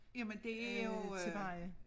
Jamen det jo øh